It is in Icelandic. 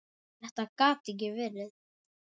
Þetta gat ekki verið.